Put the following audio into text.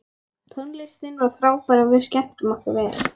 Tónlistin var frábær og við skemmtum okkur vel.